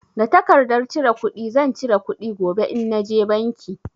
Da tarkardar cire kuɗi zan cire kuɗi gobe in na je banki.